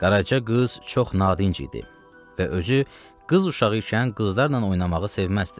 Qaraca qız çox nadinc idi və özü qız uşağı ikən qızlarla oynamağı sevməzdi.